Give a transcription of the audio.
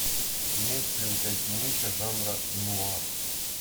имеется ли у тебя кинище жанра нуар